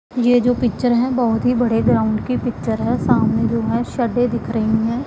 ये जो पिक्चर हैं बहोत ही बड़े ग्राउंड की पिक्चर है सामने जो है शडे दिख रही हैं।